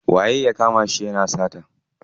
Waye ya kama shi yana sata?